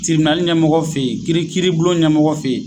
ɲɛmɔgɔ fɛ yen ,kiiri kiiribulon ɲɛmɔgɔ fɛ yen